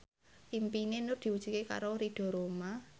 impine Nur diwujudke karo Ridho Roma